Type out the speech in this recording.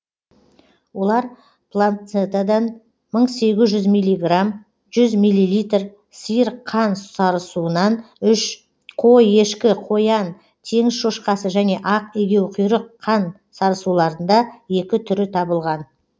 олар планцентадан мың сегіз жүз милиграмм жүз милилитр сиыр қан сарысуынан үш қой ешкі қоян теңіз шошқасы және ақ егеуқұйрық қан сарысуларында екі түрі табылған